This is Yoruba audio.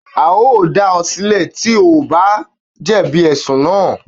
A o dá o silẹ̀ tí o kò bá jẹ̀bi ẹ̀sùn naa